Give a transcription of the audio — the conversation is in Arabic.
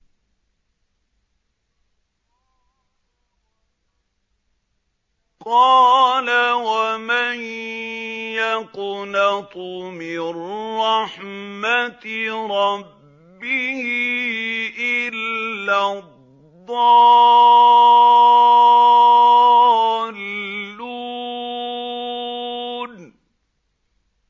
قَالَ وَمَن يَقْنَطُ مِن رَّحْمَةِ رَبِّهِ إِلَّا الضَّالُّونَ